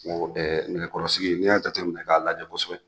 Nɛgɛkɔrɔsigi n'i y'a jatɛminɛ k'a lajɛ kosɛbɛ